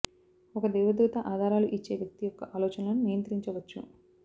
ఒక దేవదూత ఆధారాలు ఇచ్చే వ్యక్తి యొక్క ఆలోచనలను నియంత్రించవచ్చు